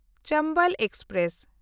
Chambal express